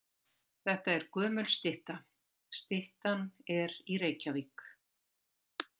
Þetta er gömul stytta. Styttan er í Reykjavík.